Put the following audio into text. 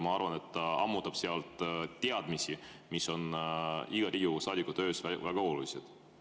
Ma arvan, et ta ammutab niimoodi teadmisi, mis on iga Riigikogu saadiku töös väga olulised.